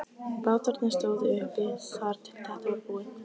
Bátarnir stóðu uppi þar til þetta var búið.